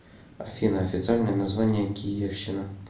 афина официальное название киевщина